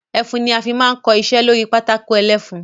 Ẹfun ni a fi máa ń kọ iṣẹ́ lórí pátákó ẹlẹ́fun.